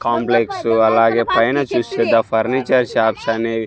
Complex అలాగే పైన చూస్తే ద ఫర్నిచర్ షాప్స్ అనేవి.